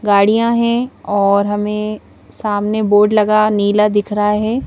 गाड़ियां हैं और हमें सामने बोर्ड लगा नीला दिख रहा है.